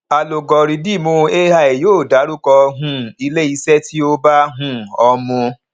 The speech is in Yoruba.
alugọrídìmù ai yóò darúkọ um ilé iṣẹ tí ó bá um ọ mu